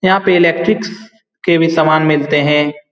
यहाँ पे इलेक्ट्रिकस के भी समान मिलते हैं।